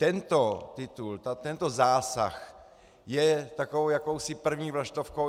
Tento titul, tento zásah je takovou jakousi první vlaštovkou.